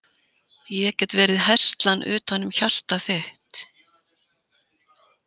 Ég get verið herslan utanum hjartað þitt.